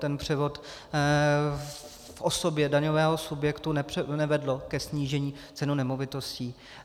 Ten převod v osobě daňového subjektu nevedl ke snížení cen nemovitostí.